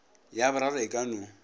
ya boraro e ka no